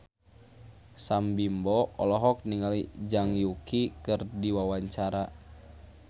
Sam Bimbo olohok ningali Zhang Yuqi keur diwawancara